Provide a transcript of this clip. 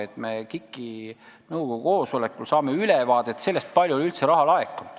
Me saame KIK-i nõukogu koosolekul ülevaate sellest, kui palju on üldse raha laekunud.